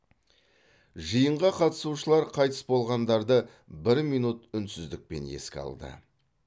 жиынға қатысушылар қайтыс болғандарды бір минут үнсіздікпен еске алды